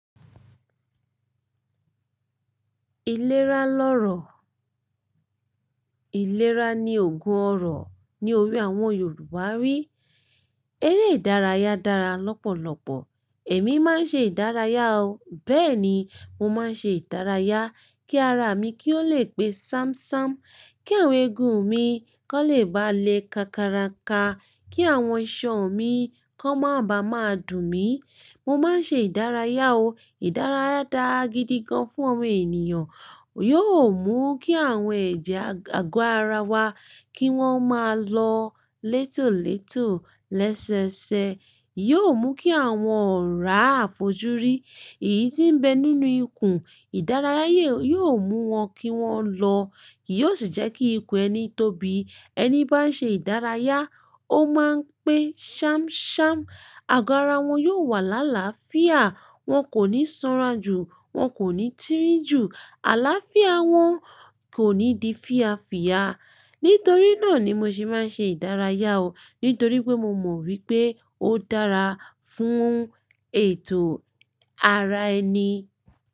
Ìlera lọ́rọ̀. Ìlera ni ògùn ọrọ̀ ní òwe àwọn Yorùbá wí. Eré ìdárayá dára lọ́pọ̀lọpọ̀. Èmi máa ń ṣe ìdárayá o. Bẹ́ẹ̀ ni, mo máa ń ṣe ìdárayá kí ara mi kí ó lè pé ṣámṣám, kí àwọn egun mi kan lè bá le kákaraka, kí àwọn iṣan mi kan máa ba máa dùn mí. Mo máa ń ṣe ìdárayá o. Ìdárayá dára gidi gan fún omo ènìyàn. Yóò mú kí àwọn ẹ̀jẹ̀ àgọ́ ara wa kí wọ́n máa lọ létólètó, lẹ́sẹẹsẹ. Yóò mú kí àwọn òrá àfojúrí, ìyí tí ń bẹ nínú ikùn, ìdárayá yóò mú wọn kí wọ́n lọ. Kí yóò sì jẹ́ kí ikùn ẹni tóbi. Ẹni bá ń ṣe ìdárayá, ó máa ń pé ṣámṣám. Àgọ́ ara wọn yóò wà lálàáfíà, wọn kò ní sanra jù, wọn kò ní tirin jù. Àlàáfíà wọn kò ní di fíyafìya. Nítorí náà ni mo ṣe máa ń ṣe ìdárayá o. Nítorí pé mo mọ̀ wípé ó dára fún ètò ara ẹni.